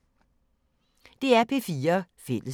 DR P4 Fælles